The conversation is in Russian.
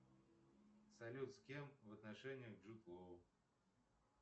салют с кем в отношениях джуд лоу